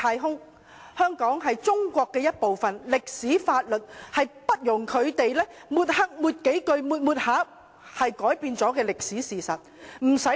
香港是中國的一部分，這在歷史和法律上均不容抹黑，不是由他們抹黑數遍，就可以改變歷史事實。